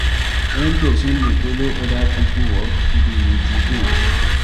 wen person dey follow oda pipo work, e dey motivate